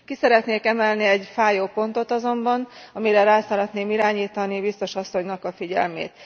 Ki szeretnék emelni egy fájó pontot azonban, amire rá szeretném irányítani biztos asszonynak a figyelmét.